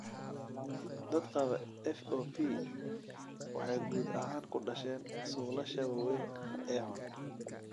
Dadka qaba FOP waxay guud ahaan ku dhasheen suulasha waaweyn ee xun.